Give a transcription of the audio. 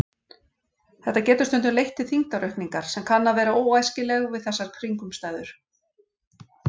Þetta getur stundum leitt til þyngdaraukningar sem kann að vera óæskileg við þessar kringumstæður.